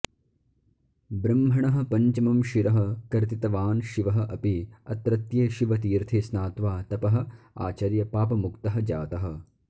ब्रह्मणः पञ्चमं शिरः कर्तितवान् शिवः अपि अत्रत्ये शिवतीर्थे स्नात्वा तपः आचर्य पापमुक्तः जातः